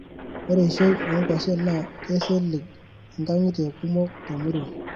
Ore eishoi oo kwashen naa keisilig nkangitie kumok temurua.